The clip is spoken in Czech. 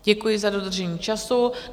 Děkuji za dodržení času.